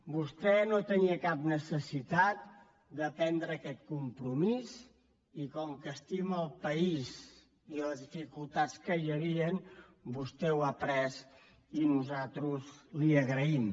vostè no tenia cap necessitat de prendre aquest compromís i com que estima el país i les dificultats que hi havien vostè l’ha pres i nosaltres li ho agraïm